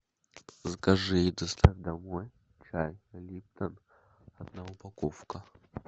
закажи и доставь домой чай липтон одна упаковка